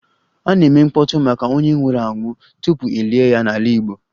A na-eme mkpọtụ maka onye nwụrụ anwụ tupu e lie ya n'ala Igbo